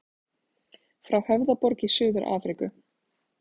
Frá Höfðaborg í Suður-Afríku.